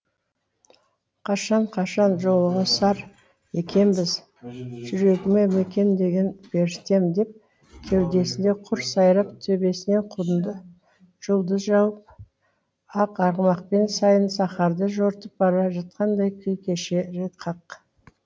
қашан қашан жолығысар екенбіз жүрегіме мекендеген періштем деп кеудесінде құс сайрап төбесінен жұлдыз жауып ақ арғымақпен сайын сахарды жортып бара жатқандай күй кешері хақ